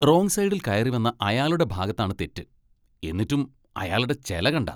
Wrong സൈഡിൽ കയറി വന്ന അയാളുടെ ഭാഗത്താണ് തെറ്റ്, എന്നിട്ടും അയാളുടെ ചെല കണ്ടാ!